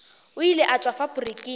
o ile a tšwa faporiking